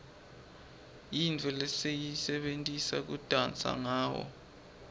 yintfo lesiyisebentisa kudansa ngawo